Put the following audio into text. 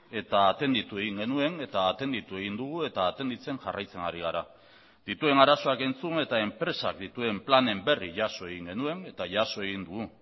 eta atenditu egin genuen eta atenditu egin dugu eta atenditzen jarraitzen ari gara dituen arazoak entzun eta enpresak dituen planen berri jaso egin genuen eta jaso egin dugu